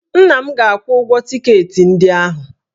Nna m ga-akwụ ụgwọ tiketi ndị ahụ